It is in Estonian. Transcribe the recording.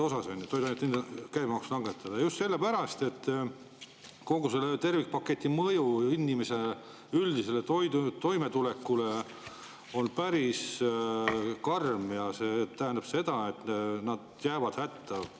Seda just sellepärast, et kogu selle tervikpaketi mõju üldisele toimetulekule on päris karm, ja see tähendab seda, et jäävad hätta.